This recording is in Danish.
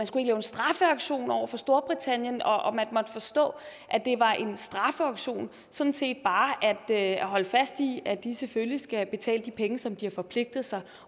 skulle lave en straffeaktion over for storbritannien og at man måtte forstå at det var en straffeaktion sådan set bare at holde fast i at de selvfølgelig skal betale de penge som de har forpligtet sig